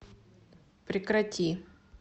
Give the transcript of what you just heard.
прекрати